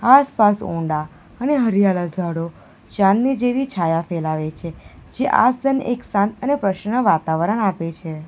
આસ-પાસ ઊંડા અને હરિયાળા ઝાડો ચાંદની જેવી છાયા ફેલાવે છે જે આસન એક શાંત અને પ્રસન્ન વાતાવરણ આપે છે.